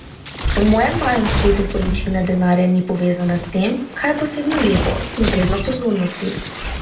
V mojem malem svetu količina denarja ni povezana s tem, kaj je posebno lepo in vredno pozornosti.